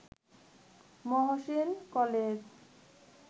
Mohsin college